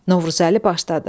Novruzəli başladı.